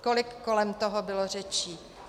Kolik kolem toho bylo řečí.